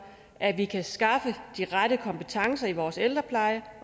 at vi kan skaffe de rette kompetencer i vores ældrepleje